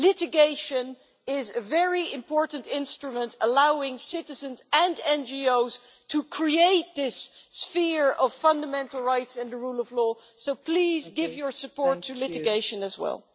Litigation is a very important instrument, allowing citizens and NGOs to create this sphere of fundamental rights and the rule of law so please give your support to litigation as well.